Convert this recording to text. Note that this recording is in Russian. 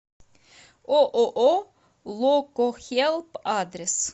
ооо локохелп адрес